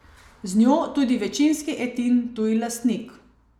Z njo tudi večinski Etin tuji lastnik.